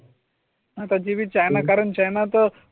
आता ची बी चायना कारण चायना तर